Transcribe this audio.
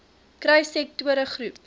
kry sektore groep